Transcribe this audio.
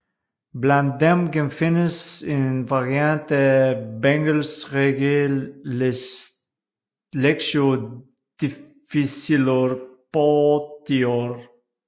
Blandt dem genfindes en variant af Bengels regel Lectio difficilior potior